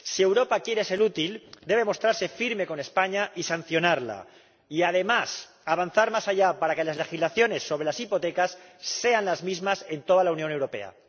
Si Europa quiere ser útil, debe mostrarse firme con España y sancionarla y, además, avanzar más allá para que las legislaciones sobre las hipotecas sean las mismas en toda la Unión Europea.